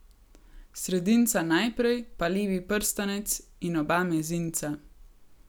Sredinca najprej, pa levi prstanec, in oba mezinca.